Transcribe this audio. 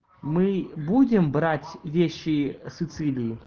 мы будем брать вещи сицилии